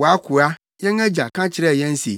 “Wʼakoa, yɛn agya, ka kyerɛɛ yɛn se,